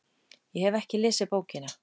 Ég hef ekki lesið bókina.